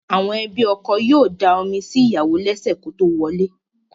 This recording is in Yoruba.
Àwọn ẹbí ọkọ yóò da omi sí ìyàwò lẹ́sẹ̀ kótó wọlé.